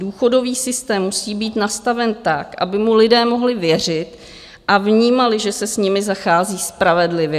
Důchodový systém musí být nastaven tak, aby mu lidé mohli věřit a vnímali, že se s nimi zachází spravedlivě.